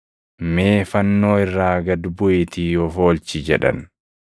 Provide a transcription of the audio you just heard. mee fannoo irraa gad buʼiitii of oolchi!” jedhan.